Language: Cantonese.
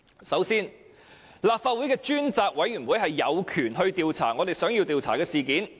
首先，立法會的專責委員會有權調查議員想要調查的事件。